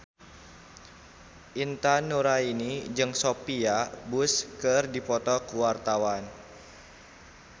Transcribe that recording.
Intan Nuraini jeung Sophia Bush keur dipoto ku wartawan